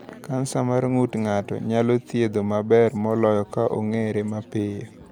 Kansa mar ng’ut ng’ato nyalo thiedho maber moloyo ka ong’ere mapiyo.